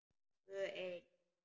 Tvö ein.